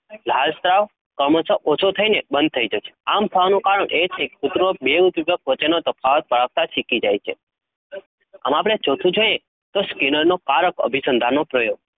લાળ સ્ત્રાવ ક્રમશહ ઓછો થઈને બંધ થઈ જશે આમ થવાનું કારણ એ છે કૂતરો બે ઉદ્દીપક વચ્ચેનો તફાવત પારખતાં શીખી જાય છે હવે આપડે ચોથું છે Skinner નો પારખ અભિસંધાનનો પ્રયોગ